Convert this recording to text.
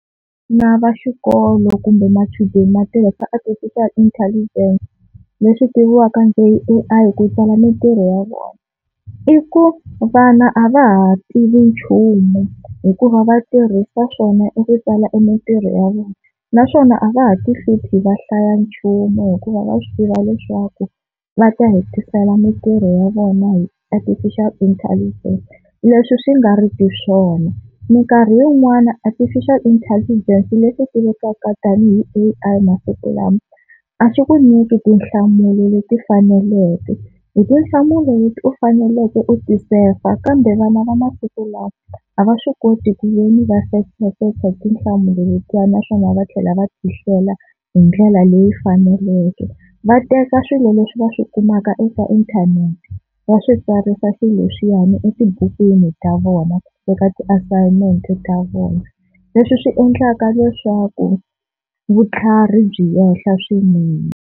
Vana va xikolo kumbe machudeni ma tirhisa Artificial Intelligence leswi tiviwaka ku i A_I ku tsala mintirho ya vona i ku vana a va ha tivi nchumu hikuva va tirhisa swona i ku tsala mintirho ya vona, naswona a va ha ti hluphi va hlaya nchumu hikuva va swi tiva leswaku va ta hetisela mintirho ya vona hi Artificial Intelligence leswi swi nga riki swona. Minkarhi yin'wani Artificial intelligence leswi tiviwaka tanihi A_I masiku lama a swi ku nyiki tinhlamulo leti faneleke hi tinhlamulo leti u faneleke u ti sefa kambe vana va masiku lawa a va swi koti ku ve ni va sefasefa tinhlamulo letiya naswona va tlhela va tihlela hi ndlela leyi faneleke. Va teka swilo leswi va swi kumaka eka inthanete va swi tsarisa swileswiyani etibukwini ta vona eka ti-assignment ta vona leswi swi endlaka leswaku vutlhari byi enhla swinene.